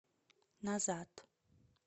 назад